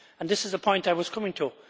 This is the point I was coming to.